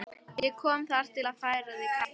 Ég kom þar að til að færa því kaffi.